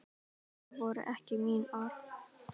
Það voru ekki mín orð